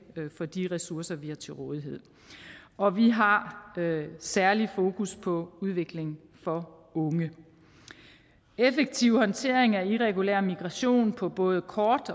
for de ressourcer vi har til rådighed og vi har særligt fokus på udvikling for unge effektiv håndtering af irregulær migration på både kort